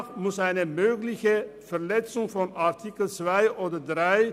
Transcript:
Demnach muss eine mögliche Verletzung von Artikel 2 oder 3